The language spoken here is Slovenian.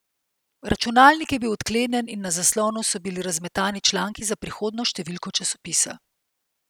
Računalnik je bil odklenjen in na zaslonu so bili razmetani članki za prihodnjo številko časopisa.